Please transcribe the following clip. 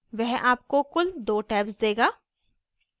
वह आपको कुल 2 tabs देगा